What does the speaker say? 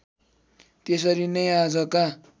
त्यसरी नै आजका